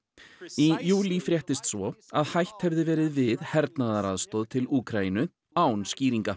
í júlí fréttist svo að hætt hefði verið við hernaðaraðstoð til Úkraínu án skýringa